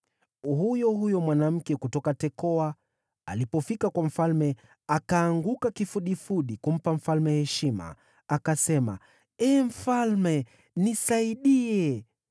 Huyo huyo mwanamke kutoka Tekoa alipofika kwa mfalme, akaanguka kifudifudi kumpa mfalme heshima, akasema, “Ee mfalme, nisaidie!”